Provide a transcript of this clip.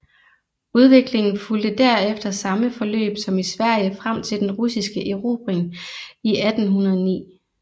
Udviklingen fulgte derefter samme forløb som i Sverige frem til den russiske erobring i 1809